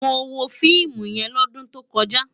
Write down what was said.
Mó wó fiimú yèn lòdún tókòjá